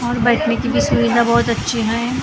और बैठने के भी सुविधा बहुत अच्छी है ।